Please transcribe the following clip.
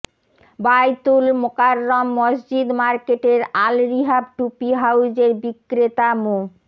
বায়তুল মোকাররম মসজিদ মার্কেটের আল রিহাব টুপি হাউজের বিক্রেতা মো